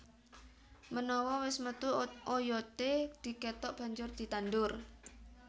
Menawa wis metu oyodé dikethok banjur ditandur